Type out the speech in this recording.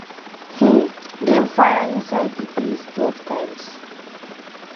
um dem fire inside di base twelve times.